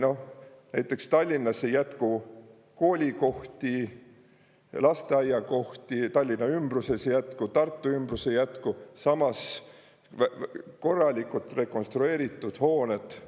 Noh, näiteks Tallinnas ei jätku koolikohti, lasteaiakohti, Tallinna ümbruses, ei jätku Tartu ümbruses, samas korralikud rekonstrueeritud hooned